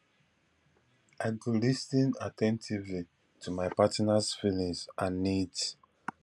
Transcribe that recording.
i go lis ten at ten tively to my partners feelings and needs